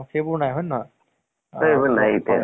অহ story টো কেনʼকা type ৰ আছে মানে?